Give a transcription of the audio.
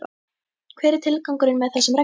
Hver er tilgangurinn með þessum reglum?